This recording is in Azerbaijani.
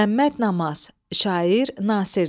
Məmməd Namaz, şair, nasirdir.